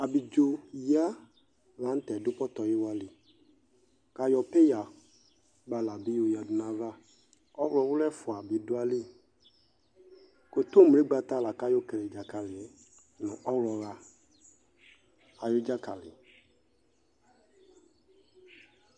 Abidzo yǝ la n'tɛ dʋ pɔtɔyiwa li k'ayɔ peya kpala bi yǝdu n'ayava Ɔɣlɔwʋlʋ ɛfua bi du ayili kotomle gbata laka yɔ lele dzakali yɛ nʋ ɔɣlɔha ayʋ dzakali